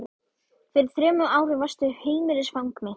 Fyrir þremur árum varstu heimilisfang mitt.